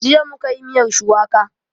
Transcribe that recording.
Jiya mu ka yi miyar shuwaka